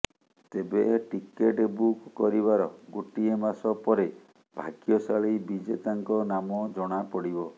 ତେବେ ticket book କରିବାର ଗୋଟିଏ ମାସ ପରେ ଭାଗ୍ୟଶାଳୀ ବିଜେତାଙ୍କ ନାମ ଜଣାପଡ଼ିବ